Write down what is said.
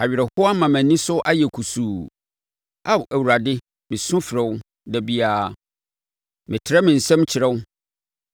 awerɛhoɔ ama mʼani so ayɛ kusuu. Ao Awurade mesu frɛ wo da biara; metrɛ me nsam kyerɛ wo.